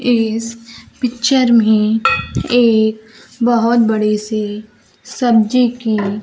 इस पिक्चर में एक बहोत बड़े से सब्जी की--